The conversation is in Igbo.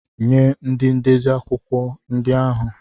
Nye ndị ndezi akwụkwọ ndị ahụ!